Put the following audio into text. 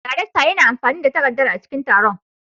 Daraktan yana amfani da takardar a cikin taron.